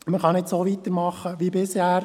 Man kann nicht so weitermachen wie bisher.